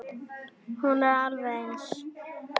Hún er alveg eins.